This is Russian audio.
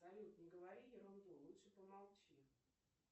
салют не говори ерунду лучше помолчи